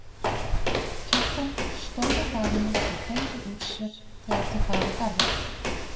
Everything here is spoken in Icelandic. Kjartan stóð á hlaðinu og teygði úr sér þegar þau bar að garði.